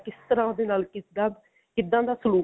ਕਿਸ ਤਰ੍ਹਾਂ ਉਸਦੇ ਨਾਲ ਕਿੱਦਾਂ ਕਿੱਦਾਂ ਦਾ ਸਲੂਕ